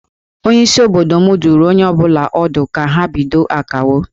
Onyeisi obodo m dụrụ onye ọ bụla ọdụ ka ha bido Akawo